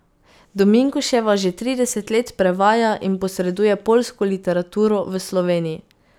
Dominkuševa že trideset let prevaja in posreduje poljsko literaturo v Sloveniji.